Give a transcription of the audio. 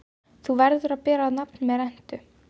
Þú verður að bera nafn með rentu.